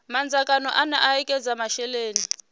madzangano ane a ekedza masheleni